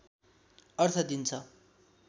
अर्थ दिन्छ